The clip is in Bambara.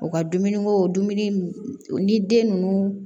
U ka dumuniko dumuni ni den ninnu